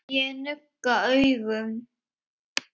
Ég nugga augun.